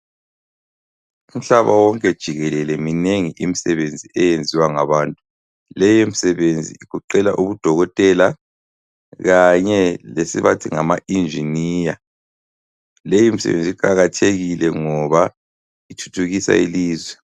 Umhlaba wonke jikelele minengi imisebenzi eyenziwa ngabantu, leyi misebenzi igoqela ubudokotela kanye le sibathi ngama engineer, leyi misebenzi iqakathekile ngoba ithuthukisa ilizwe.